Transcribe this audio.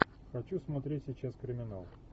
хочу смотреть сейчас криминал